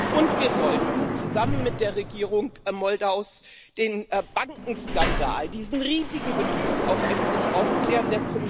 Und wir sollten zusammen mit der Regierung Moldaus den Bankenskandal, diesen riesigen Betrug, auch endlich aufklären.